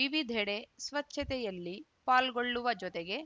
ವಿವಿಧೆಡೆ ಸ್ವಚ್ಛತೆಯಲ್ಲಿ ಪಾಲ್ಗೊಳ್ಳುವ ಜೊತೆಗೆ